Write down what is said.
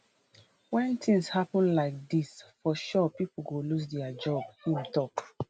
wen tins happun like like dis for sure pipo go lose dia job im tok